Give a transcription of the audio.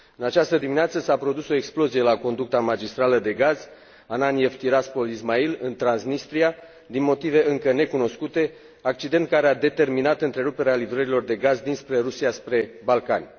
În această dimineață s a produs o explozie la conducta magistrală de gaz Ananiev Tiraspol Ismail în Transnistria din motive încă necunoscute, accident care a determinat întreruperea livrărilor de gaz dinspre Rusia spre Balcani.